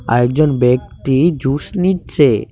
আরেকজন ব্যক্তি জুস নিচ্ছে।